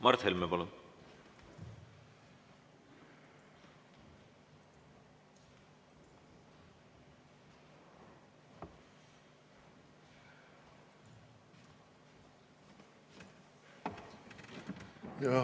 Mart Helme, palun!